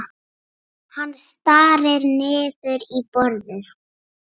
Hann starir niður í borðið.